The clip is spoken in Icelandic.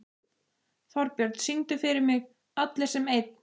Þorbjörn, syngdu fyrir mig „Allir sem einn“.